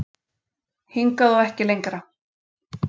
Hingað og ekki lengra